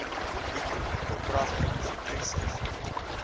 nicro verkragtings krisis